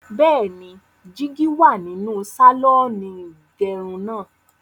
Bẹ́ẹ̀ni, jígí wà nínú sàlọ́ọ̀nì ìgẹrun náà.